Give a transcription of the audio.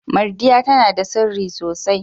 Mardiya tana da sirri sosai.